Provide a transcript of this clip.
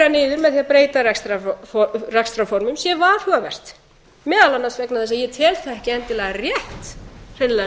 niður með því að breyta rekstrarformum sé varhugavert meðal annars vegna þess að ég tel það ekki endilega rétt hreinlega